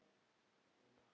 Sjötti kafli